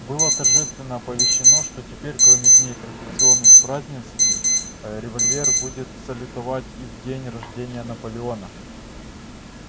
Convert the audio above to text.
было торжественно оповещено что теперь кроме дней традиционных празднеств револьвер будет салютовать и в день рождения наполеона